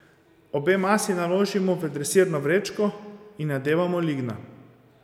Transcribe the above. Obe masi naložimo v dresirno vrečko in nadevamo lignja.